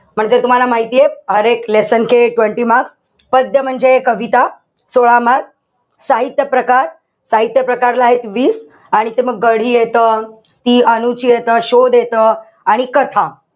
म्हणजे तुम्हाला माहितीये. पद्य म्हणजे कविता. सोळा marks. साहित्य प्रकार. साहित्य प्रकारला एत वीस. आणि मग ते गढी येत. ती अनुची येत. शोध येत. आणि कथा.